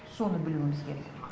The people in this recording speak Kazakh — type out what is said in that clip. соны білуіміз керек